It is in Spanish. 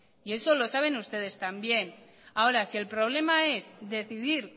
eso lo saben ustedes también ahora si el problema es decidir